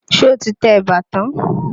Ṣé o ti tẹ̀bà tán?